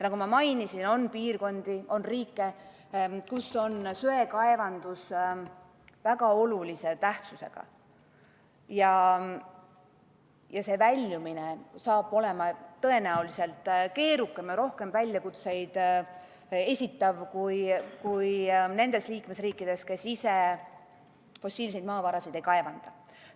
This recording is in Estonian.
Nagu ma mainisin, on piirkondi, riike, kus söekaevandus on väga olulise tähtsusega, ja väljumine saab seal olema tõenäoliselt keerukam ja rohkem väljakutseid esitav kui nendes liikmesriikides, kes ise fossiilseid maavarasid ei kaevanda.